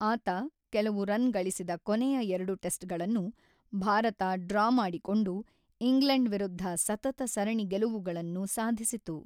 ಆತ ಕೆಲವು ರನ್ ಗಳಿಸಿದ ಕೊನೆಯ ಎರಡು ಟೆಸ್ಟ್‌ಗಳನ್ನು ಭಾರತ ಡ್ರಾ ಮಾಡಿಕೊಂಡು, ಇಂಗ್ಲೆಂಡ್ ವಿರುದ್ಧ ಸತತ ಸರಣಿ ಗೆಲುವುಗಳನ್ನು ಸಾಧಿಸಿತು.